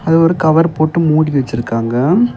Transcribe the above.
இது ஒரு கவர் போட்டு மூடி வெச்சிருக்காங்க.